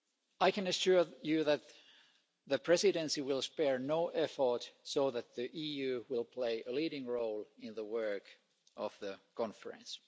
I can assure you that the Presidency will spare no effort to ensure that the EU will play a leading role in the work of the conference.